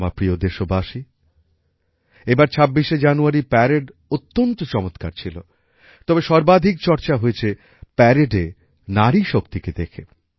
আমার প্রিয় দেশবাসী এবার ২৬ শে জানুয়ারির প্যারেড অত্যন্ত চমৎকার ছিল তবে সর্বাধিক চর্চা হয়েছে প্যারেডে নারীশক্তিকে দেখে